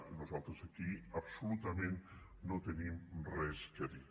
i nosaltres aquí absolutament no tenim res a dir